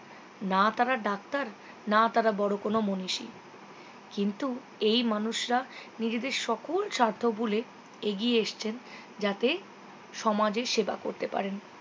না তারা doctor না তারা বড়ো কোনও মনীষী কিন্তু এই মানুষরা নিজেদের সকাল স্বার্থ ভুলে এগিয়ে এসেছেন যাতে সমাজের সেবা করতে পারেন